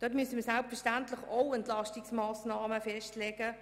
Wir müssen dort selbstverständlich auch Entlastungsmassnahmen festlegen.